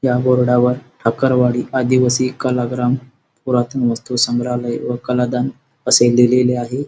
या बोर्डा वर ठाकरवाडी आदिवासी कलाग्राम पुरातन वस्तु संग्राहलय व कलादान असे लिहिलेले आहे.